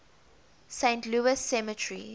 saint louis cemetery